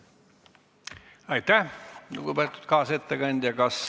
Aitäh, lugupeetud kaasettekandja!